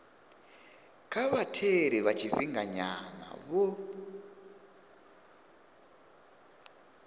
kha vhatheli vha tshifhinganyana vho